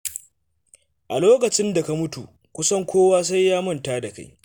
A lokacin da ka mutu, kusan kowa sai ya manta da kai.